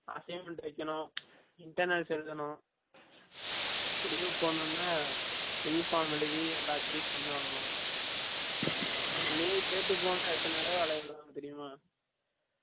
assignment வைகனும், internals எலுதனும், leave போடனும்னா leave form எலுதி எல்லர் கிட்டையும் sign வாங்கனும், leave கேட்டு போனா எத்தன தடவ அலய விடுவாங்க தெர்யுமா